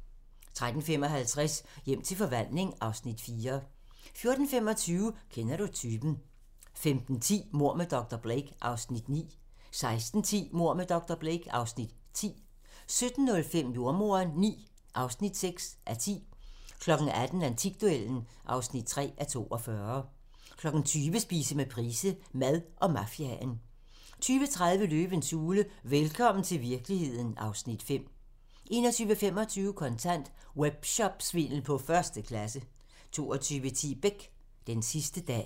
13:55: Hjem til forvandling (Afs. 4) 14:25: Kender du typen? 15:10: Mord med dr. Blake (Afs. 9) 16:10: Mord med dr. Blake (Afs. 10) 17:05: Jordemoderen IX (6:10) 18:00: Antikduellen (3:42) 20:00: Spise med Price - Mad og mafiaen 20:30: Løvens hule - velkommen til virkeligheden (Afs. 5) 21:25: Kontant: Webshopsvindel på første klasse 22:10: Beck: Den sidste dag